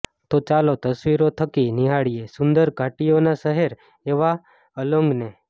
તો ચાલો તસવીરો થકી નીહાળીએ સુંદર ઘાટીઓના શહેર એવા અલોંગને